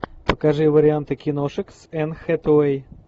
покажи варианты киношек с энн хэтэуэй